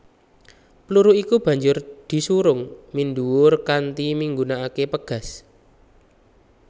Peluru iki banjur disurung minduwur kanti menggunakaké pegas